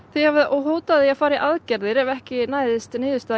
þið hafið hótað því að fara í aðgerðir ef ekki næðist niðurstaða